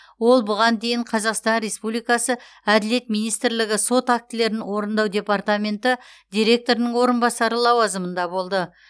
ол бұған дейін қазақстан республикасы әділет министрлігі сот актілерін орындау департаменті директорының орынбасары лауазымында болды